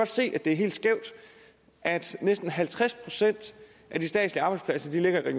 se at det er helt skævt at næsten halvtreds procent af de statslige arbejdspladser ligger i